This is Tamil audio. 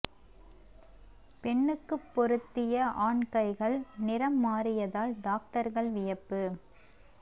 பெண்ணுக்கு பொருத்திய ஆண் கைகள் நிறம் மாறியதால் டாக்டர்கள் வியப்பு